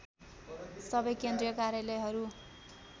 सबै केन्द्रीय कार्यालयहरू